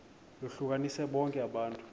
lohlukanise bonke abantu